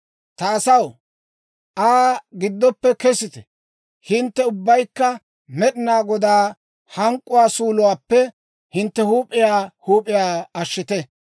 «Ta asaw, Aa giddoppe kesite! Hintte ubbaykka Med'inaa Godaa hank'k'uwaa suuluwaappe hintte huup'iyaa huup'iyaa ashshite!